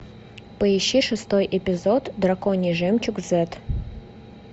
поищи шестой эпизод драконий жемчуг зет